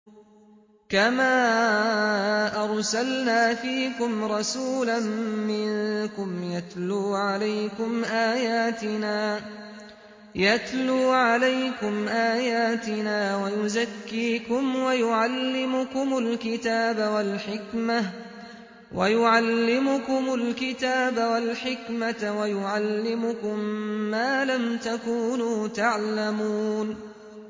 كَمَا أَرْسَلْنَا فِيكُمْ رَسُولًا مِّنكُمْ يَتْلُو عَلَيْكُمْ آيَاتِنَا وَيُزَكِّيكُمْ وَيُعَلِّمُكُمُ الْكِتَابَ وَالْحِكْمَةَ وَيُعَلِّمُكُم مَّا لَمْ تَكُونُوا تَعْلَمُونَ